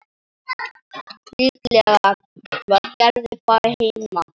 Líklega var Gerður bara heima.